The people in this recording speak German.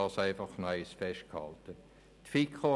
Das soll noch einmal festgehalten werden.